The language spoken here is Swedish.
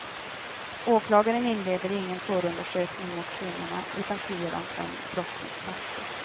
Åklagaren inleder ingen förundersökning mot kvinnorna utan friar dem från brottsmisstanke.